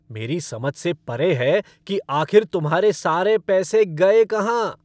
मेरी समझ से परे है कि आखिर तुम्हारे सारे पैसे गए कहां?